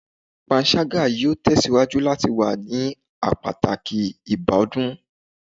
Panṣaga yoo tesiwaju lati wa ni a pataki ibakcdun